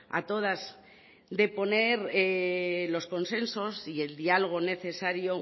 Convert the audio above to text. a todas de poner los consensos y el diálogo necesario